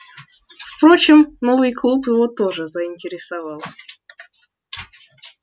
впрочем новый клуб его тоже заинтересовал